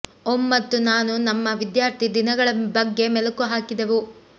ಓಂ ಮತ್ತು ನಾನು ನಮ್ಮ ವಿದ್ಯಾರ್ಥಿ ದಿನಗಳ ಬಗ್ಗೆ ಮೆಲುಕು ಹಾಕಿದೆವು